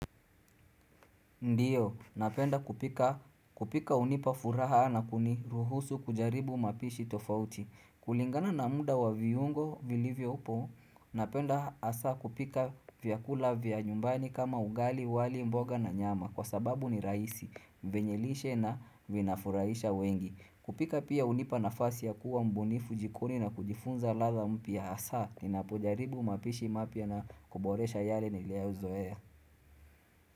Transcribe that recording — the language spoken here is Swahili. Ndiyo, napenda kupika. Kupika hunipa furaha na kuniruhusu kujaribu mapishi tofauti kulingana na muda wa viungo vilivyo upo, napenda asa kupika vyakula vya nyumbani kama ugali, wali mboga na nyama Kwa sababu ni raisi, venye lishe na vinafuraisha wengi kupika pia hunipa nafasi ya kuwa mbunifu jikoni na kujifunza ladha mpya hasa, ninapojaribu mapishi mapya na kuboresha yale niliozoea.